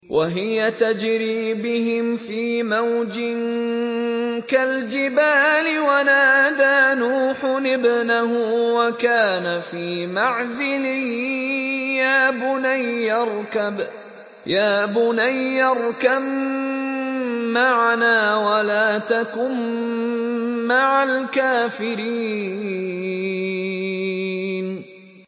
وَهِيَ تَجْرِي بِهِمْ فِي مَوْجٍ كَالْجِبَالِ وَنَادَىٰ نُوحٌ ابْنَهُ وَكَانَ فِي مَعْزِلٍ يَا بُنَيَّ ارْكَب مَّعَنَا وَلَا تَكُن مَّعَ الْكَافِرِينَ